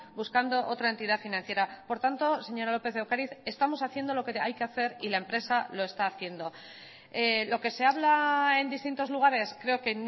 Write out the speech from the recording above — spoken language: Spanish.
buscando otra entidad financiera por tanto señora lópez de ocariz estamos haciendo lo que hay que hacer y la empresa lo está haciendo lo que se habla en distintos lugares creo que